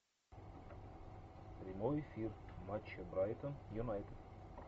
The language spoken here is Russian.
прямой эфир матча брайтон юнайтед